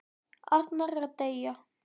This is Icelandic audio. Arnar er að deyja.